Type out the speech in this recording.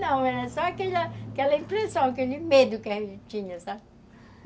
Não, era só aquela aquela impressão, aquele medo que a gente tinha, sabe?